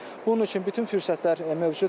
Bunun üçün bütün fürsətlər mövcuddur.